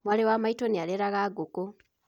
Mwarĩ wa maitũ nĩ areraga ngũkũ